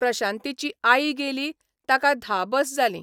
प्रशांतीची आई गेली ताका धा बस जालीं.